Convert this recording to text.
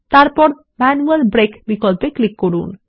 এবং তারপর manual break বিকল্পে ক্লিক করুন